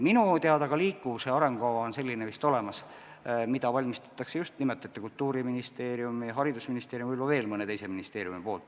Minu teada on ka liikuvuse arengukava vist olemas, seda valmistatakse ette Kultuuriministeeriumis, haridusministeeriumis, võib-olla veel mõnes teises ministeeriumis.